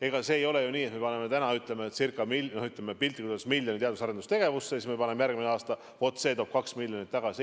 Ega see ei ole ju nii, et kui me paneme täna, piltlikult öeldes, miljoni teadus- ja arendustegevusse, siis järgmisel aastal toob see 2 miljonit tagasi.